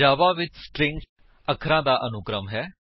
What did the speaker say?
ਜਾਵਾ ਵਿੱਚ ਸਟ੍ਰਿੰਗ ਅੱਖਰਾਂ ਦਾ ਅਨੁਕ੍ਰਮ ਹੈ